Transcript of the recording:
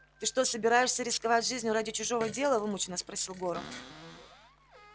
ты что собираешься рисковать жизнью ради чужого дела вымученно спросил горов